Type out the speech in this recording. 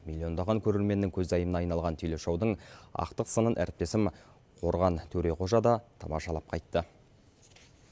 миллиондаған көрерменнің көзайымына айналған телешоудың ақтық сынын әріптесім қорған төреғожа да тамашалап қайтты